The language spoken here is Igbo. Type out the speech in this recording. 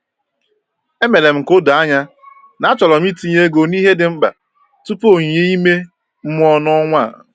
E mere m ka o doo anya na achọrọ m itinye ego n’ihe dị mkpa tupu onyinye ime mmụọ n’ọnwa a.